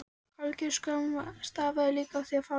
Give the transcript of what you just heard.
Hálfgerð skömm stafaði líka af því að fara svona.